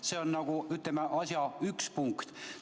See on nagu asja üks punkt.